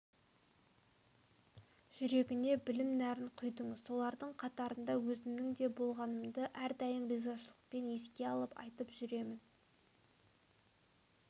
жүрегіне білім нәрін құйдыңыз солардың қатарында өзімнің де болғанымды әрдайым ризашылықпен еске алып айтып жүремін